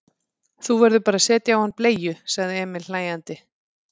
Þú verður bara að setja á hann bleiu, sagði Emil hlæjandi.